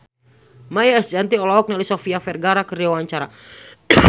Maia Estianty olohok ningali Sofia Vergara keur diwawancara